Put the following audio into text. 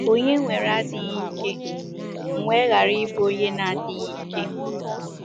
“ Ònye nwere adịghị ike, m wee ghara ịbụ onye na - adịghị ike?